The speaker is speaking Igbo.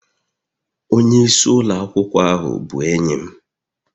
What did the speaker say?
Onye isi ụlọ akwụkwọ ahu bụ enyi m